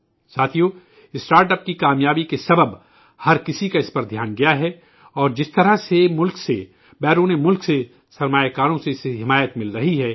ساتھیو startup کی کامیابی کی وجہ سے ہر کسی کی توجہ اس کی جانب مبذول ہوئی ہے اور جس طرح سے ملک سے، غیر ممالک سے، سرمایہ کاروں سے اسے تعاون حاصل ہو رہا ہے